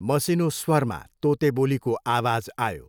मसिनो स्वरमा तोतेबोलीको आवाज आयो।